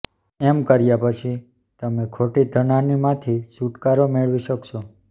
એમ કર્યા પછી તમે ખોટી ધન હાની માંથી છુટકારો મેળવી શકશો